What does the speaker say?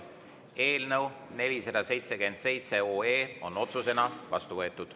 Eelnõu 477 on otsusena vastu võetud.